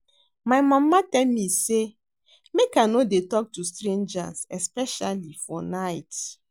My mama tell me say make I no dey talk to strangers especially for night